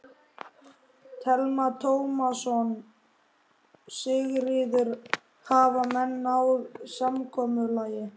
Telma Tómasson: Sigríður, hafa menn náð samkomulagi?